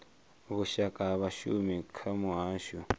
vhushaka ha vhashumi kha muhasho